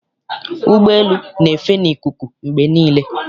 Ụgbọelu na-efe n'ikuku mgbe niile.